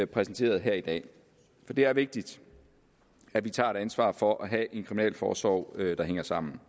præsenteret her i dag det er vigtigt at vi tager et ansvar for at have en kriminalforsorg der hænger sammen